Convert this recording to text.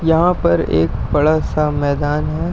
यहां पर एक बड़ा सा मैदान है।